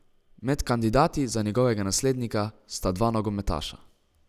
Med kandidati za njegovega naslednika sta dva nogometaša.